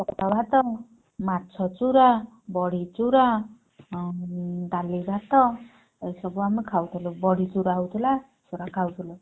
ଭାତ ମାଛ ଚୁରା ବଡି ଚୁରା ଆଉ ଡାଲିଭାତ ଏସବୁ ଆମେ ଖାଉଥିଲୁ ବଡିଚୁରା ହଉଥିଲା ଚୁରା ଖାଉଥିଲୁ।